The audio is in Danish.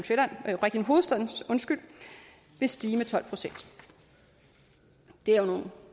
hovedstaden vil stige med tolv procent det er jo nogle